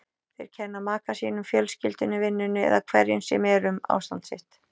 Þeir kenna maka sínum, fjölskyldunni, vinnunni eða hverju sem er um ástand sitt.